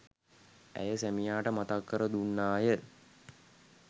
ඇය සැමියාට මතක් කර දුන්නාය.